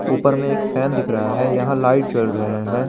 ऊपर में एक फैन दिख रहा है यहां लाइट जल रहे हैं।